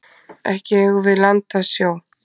Ekki eigum við land að sjó.